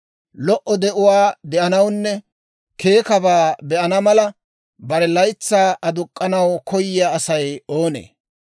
Lo"o de'uwaa de'anawunne keekkabaa be'ana mala, bare laytsay aduk'k'anaw koyiyaa Asay oonee?